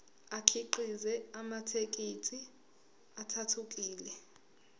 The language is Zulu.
akhiqize amathekisthi athuthukile